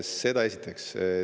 Seda esiteks.